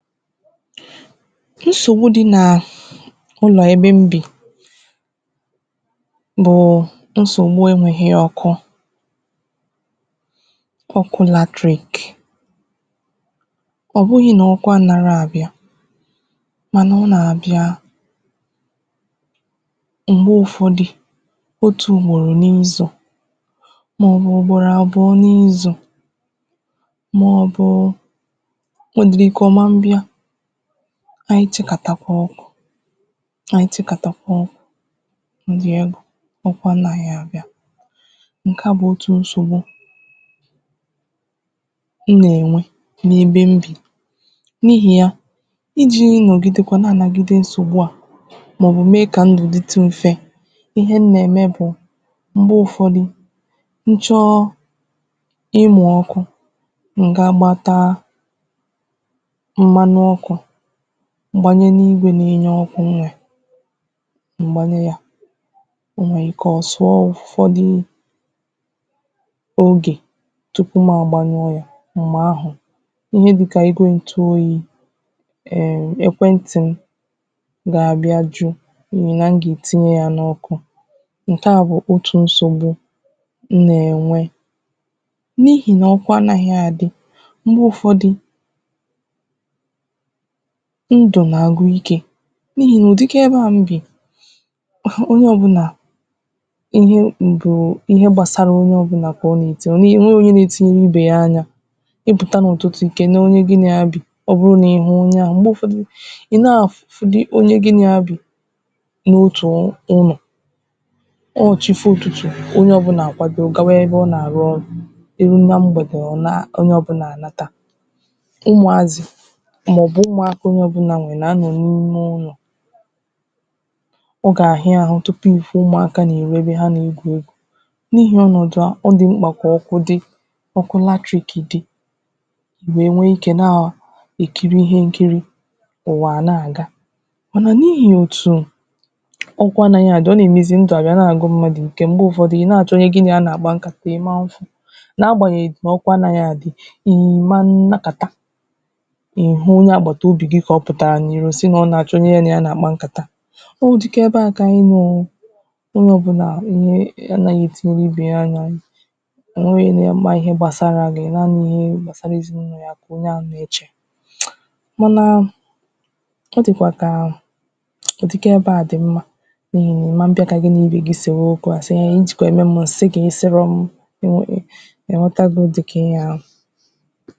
nsògbu di nà ụlọ̀ ebe m bì bụ̀ nsògbu enwēghi ọkụ ọkụ lateric ọ̀ bụghị̄ nà ọkụ anāghị àbịà mànà ọ nà-àbịa m̀gbe ụ̀fọdị otù ùgbòrò n’izù màọbụ̀ ùgbòrò àbụọ n’izù màọbụ o nwèdìrì ikē ọ̀ ma m bịa na ntikàtapụ ọkụ̄ na ntikàtapụ ọkụ̄ ndị egbè ọkụ anāghị àbịa ǹke a bụ̀ otù nsògbu m nà-ènwe n’ebe m bì n’ihì ya ijī iyi nọ̀gidekwa na-ànagide nsògbu a màọbụ̀ mee kà ndù dịtụ m̀fe ihe m nà-ème bụ̀ m̀gbe ụ̀fọdụ m chọọ ịmụ̀ ọkụ m̀ ga-gbata mmanụ̄ ọkụ̄ m gbanye n’igwē na-enye ọkụ m nwèrè m̀ gbanye yā o nwèè ike ọ̀ zụ̀ọ ụ̀fọdị ogè tupu ma àgbanyuo ya m̀gbè ahụ̀ ihe dịkà igwē ǹtuoyī em ekwe ntì m gà-àbịa ju n’ihì na m gà-ètinye ya n’ọkụ ǹke a bụ̀ otù nsògbu m nà-ènwe n’ihì nà ọkụ anāghị àdị ihe ụ̀fọdụ ndù nà-àgwụ ikē n’ihì nà ụ̀dịka ebe a m bì àhụ onye ọ̀bụlà ihe mbùrù ihe gbasara onye ọ̀bụla kà ọ nà-ètinye ọ̀ nweghi onye na-etinyere ibè ya anya ị pụ̀ta n’ụ̀tụtụ̀ ì kèle onye gin a ya bì ọ bụrụ nà ịhụ onye ahụ̀ m̀gbè ụ̀fọdụ ị̀ na-àfụ fụdị onye gin à ya bì n’otù ọnwà ọnwà ọ chifoo ụ̀tụtụ onye ọ̀bụlà àkwado gawa ebe ọ nà-àrụ ọrụ̄ eru na mgbèdè ọ naa onye ọ̀buḅlà ànata eru na mgbèdè ọ naa onye ọ̀buḅlà ànata màọbụ̀ umùakā onye ọ̀bụla nwèrè nà-anọ̀ n’ime ụlọ̀ ọ gà-àhịa àhụ tupu ị̀ fụ umùaka n’ìro ebe ha nà-egwù egwu n’ihì ọnọ̀dụ̀ a ọ dì mkpà kà ọkụ di ọkụ lateric di weè nwee ikē na èkiri ihe nkiri ụ̀wà à na-àga mànà n’ihì òtù ọkụ anāghị àdị ọ nà-èmezi ndù àbịa na-àgwụ mmadụ̀ ike m̀gbe jụfọdụ ị̀ na-àchọ onye gi nà ya nà-àgba nkàta ị̀ ma nfu na-agbànyèghì na ọkụ anāghị àdị ị̀ ma nọkàta ị̀hụ onye àgbàta obì gi kà ọ pụtàrà n’ìro sin à ọ nà-àchọ onye ya nà ya nà-àkpa nkàta ọ ụ̀dịka ebe a kà ànyị nọ̀ onye ọ̀bụla wee anāghị ètiri ibè ya anya ò nweghi nye ma ihe gbàsara gi ịmaghị ihe gbasara èzinàụlọ onye ahụ̀ mà ǹke onye ahụ̀ nà-echè mànà ọ dị̀kwà kà ụ̀dịka ebe a dị̀ mmā mm ị̀ma mbịa kà gī nà ibè gi sèwe okwū asị ijìkwa mee m m si gi ị̀ sịrọ̄ m eee ị̀ ghọ̄tago ụ̀dịka ihe ahụ̀